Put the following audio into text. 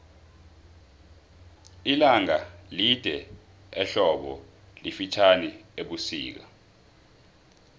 ilanga lide ehlobu lifitjhani ebusika